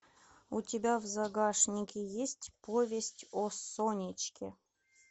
у тебя в загашнике есть повесть о сонечке